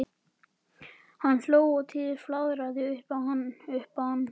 Hann hló og Týri flaðraði upp um hann.